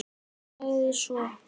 Sagði svo: